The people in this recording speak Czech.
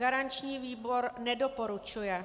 Garanční výbor nedoporučuje.